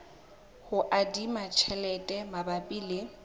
ho adima tjhelete mabapi le